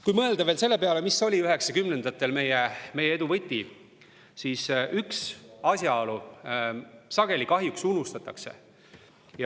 Kui mõelda veel selle peale, mis oli 1990-ndatel meie edu võti, siis üks asjaolu sageli kahjuks unustatakse.